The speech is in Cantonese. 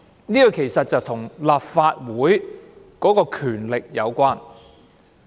這其實與立法會的權力有關。